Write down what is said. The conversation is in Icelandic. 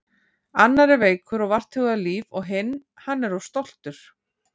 Annar er veikur og vart hugað líf og hinn. hann er of stoltur.